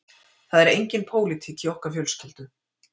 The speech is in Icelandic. Það er engin pólitík í okkar fjölskyldu